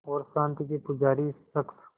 और शांति के पुजारी इस शख़्स